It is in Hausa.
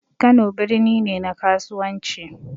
Kano birni ne na kasuwanci